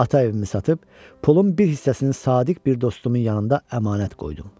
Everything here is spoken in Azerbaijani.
Ata evimi satıb, pulun bir hissəsini sadiq bir dostumun yanında əmanət qoydum.